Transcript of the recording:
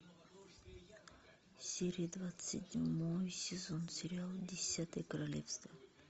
серия двадцать седьмой сезон сериал десятое королевство